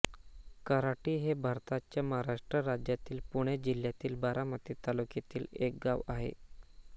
कऱ्हाटी हे भारताच्या महाराष्ट्र राज्यातील पुणे जिल्ह्यातील बारामती तालुक्यातील एक गाव आहे